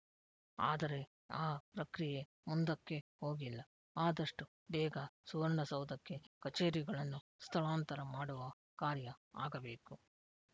ಆದರೆ ಆ ಪ್ರಕ್ರಿಯೆ ಮುಂದಕ್ಕೇ ಹೋಗಿಲ್ಲ ಆದಷ್ಟುಬೇಗ ಸುವರ್ಣಸೌಧಕ್ಕೆ ಕಚೇರಿಗಳನ್ನು ಸ್ಥಳಾಂತರ ಮಾಡುವ ಕಾರ್ಯ ಆಗಬೇಕು